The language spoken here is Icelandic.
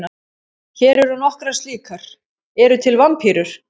Hér eru nokkrar slíkar: Eru til vampírur?